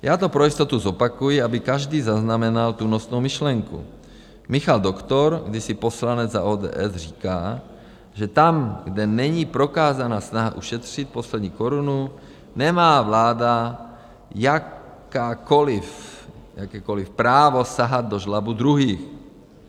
Já to pro jistotu zopakuji, aby každý zaznamenal tu nosnou myšlenku: Michal Doktor, kdysi poslanec za ODS, říká, že tam, kde není prokázána snaha ušetřit poslední korunu, nemá vláda jakékoliv právo sahat do žlabu druhých.